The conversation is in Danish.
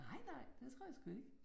Nej nej, det tror jeg sgu ikke